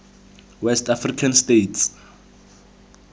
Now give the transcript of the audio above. west african states